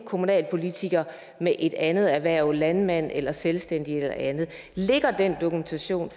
kommunalpolitikere med et andet erhverv landmand eller selvstændig eller andet ligger der den dokumentation